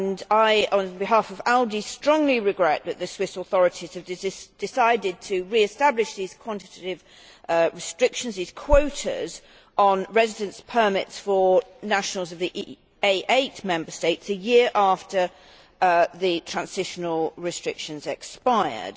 I, on behalf of ALDE, strongly regret that the Swiss authorities have decided to re establish these quantitative restrictions these quotas on residence permits for nationals of the A8 Member States a year after the transitional restrictions expired.